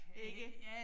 Ikke